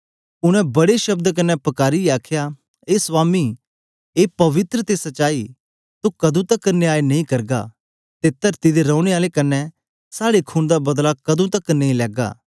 उनै बड्डे शब्द कन्ने पकारीयै आखया ए स्वामी ए पवित्र ते सचाई तू कदों तकर न्याय नेई करग ते तरती दे रोने आलें कन्ने साड़े खून दा बदला कदों तकर नेई लैगा